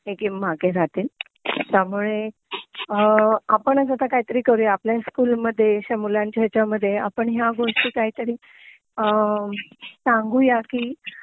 हे गेम मागे राहतील तुपामुळे आपणच आता काहीतरी करूया आपल्या स्कूलमध्ये अश्या मुलांच्या हेच्यामध्ये आपण ह्या गोष्टी काहीतरी अ सांगूया कि